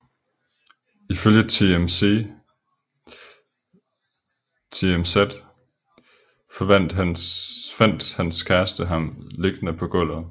Ifølge TMZ fandt hans kæreste ham liggende på gulvet